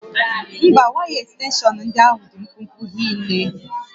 Mba, waya ekstenshọn ndị ahụ dị mkpụmkpụ hinne